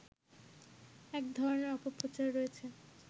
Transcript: এক ধরনের অপপ্রচার রয়েছে